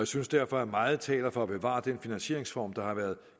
synes derfor at meget taler for at bevare den finansieringsform der har været